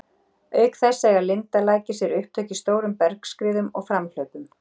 Auk þess eiga lindalækir sér upptök í stórum bergskriðum eða framhlaupum.